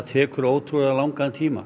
tekur ótrúlega langan tíma